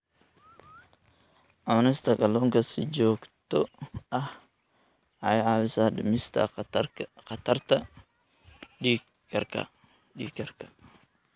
Cunista kalluunka si joogto ah waxay caawisaa dhimista khatarta dhiig karka.